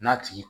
N'a tigi